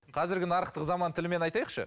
қазіргі нарықтық заман тілімен айтайықшы